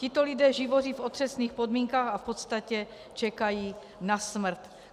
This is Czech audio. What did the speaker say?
Tito lidé živoří v otřesných podmínkách a v podstatě čekají na smrt.